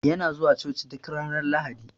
Yana zuwa coci duk Ranar lahadi.